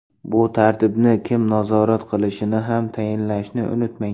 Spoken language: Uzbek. Bu tartibni kim nazorat qilishini ham tayinlashni unutmang.